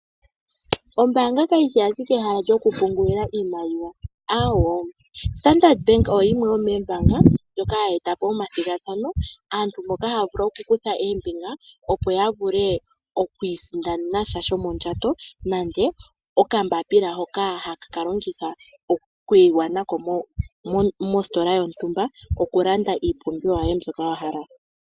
Ombaanga kayishi ashike ehala lyokupungulila iimaliwa, aawo. Standard Bank oyo yimwe yomoombanga ndjoka hayi eta po omathigathano, aantu moka haya vulu okukutha ombinga opo ya vule okwiisindanena sha shomondjato. Nenge okambapila hoka haka ka longithwa okuyiwa nako mositola yontumba, ko ku landa iipumbiwa yoye mbyoka wa hala.